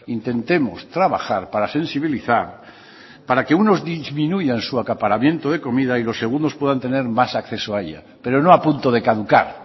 intentemos trabajar para sensibilizar para que unos disminuyan su acaparamiento de comida y los segundos puedan tener más acceso a ella pero no a punto de caducar